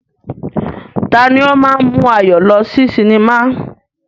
Tani ó máa ń mú Ayọ̀ lọ sí cinema?